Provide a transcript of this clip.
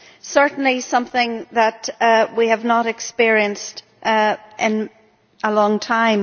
certainly something that we have not experienced in a long time.